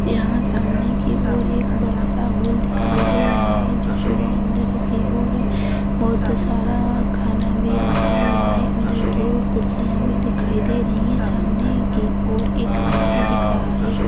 यहां सामने की और एक बहुत बड़ा हॉल दिखाई दे रहा है जिसमे अंदर की और बहुत सारा खाना रखा हुआ है अंदर की और कुर्सी भी दिखाई दे रही है सामने की और एक व्यक्ति भी दिख रहा है।